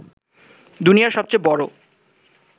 দুনিয়ার সবচেয়ে বড়